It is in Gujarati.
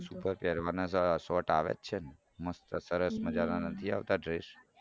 ઉપર પેરવાના સારા short આવે જ છે ને મસ્ત સરસ મજાના નથી આવતા dress.